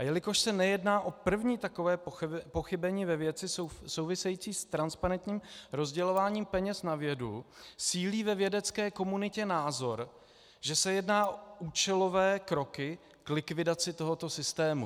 A jelikož se nejedná o první takové pochybení ve věci související s transparentním rozdělováním peněz na vědu, sílí ve vědecké komunitě názor, že se jedná o účelové kroky k likvidaci tohoto systému.